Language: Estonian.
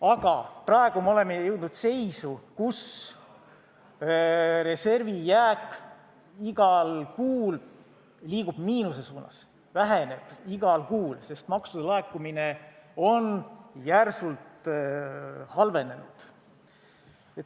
Aga praegu me oleme jõudnud seisu, kus reservi jääk liigub igas kuus miinuse suunas, see väheneb igas kuus, sest maksude laekumine on järsult halvenenud.